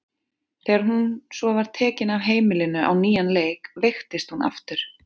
Þegar hún svo var tekin af heimilinu á nýjan leik veiktist hún aftur.